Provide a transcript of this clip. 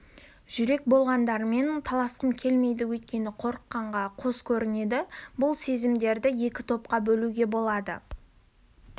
жүрек болғандармен таласқым келмейді өйткені қорыққанға қос көрінеді бұл сезімдерді екі топқа бөлуге болады